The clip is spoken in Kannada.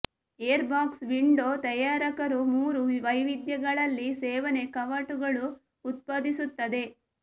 ಏರ್ ಬಾಕ್ಸ್ ವಿಂಡೋ ತಯಾರಕರು ಮೂರು ವೈವಿಧ್ಯಗಳಲ್ಲಿ ಸೇವನೆ ಕವಾಟಗಳು ಉತ್ಪಾದಿಸುತ್ತದೆ